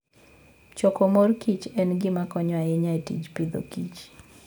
Choko mor kich en gima konyo ahinya e tij Agriculture and Food